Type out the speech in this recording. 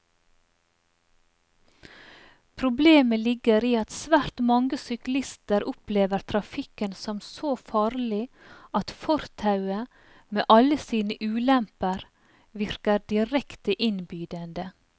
Problemet ligger i at svært mange syklister opplever trafikken som så farlig at fortauet, med alle sine ulemper, virker direkte innbydende.